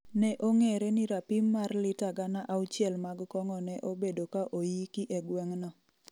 ne ong'ere ni rapim mar lita gana auchiel mag kong'o ne obedo ka oyiki egweng'no